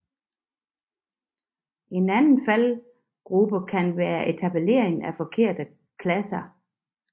En anden faldgrube kan være etablering af forkerte klasser